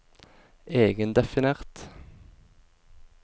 egendefinert